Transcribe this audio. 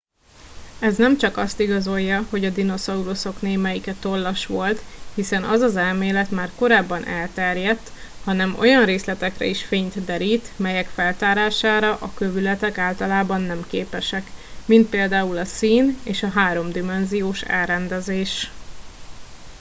ez nem csak azt igazolja hogy a dinoszauruszok némelyike tollas volt hiszen az az elmélet már korábban elterjedt hanem olyan részletekre is fényt derít melyek feltárására a kövületek általában nem képesek mint például a szín és a háromdimenziós elrendezés